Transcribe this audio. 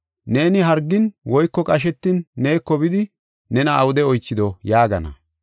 Neeni hargin woyko qashetin neeko bidi nena awude oychido?’ yaagana.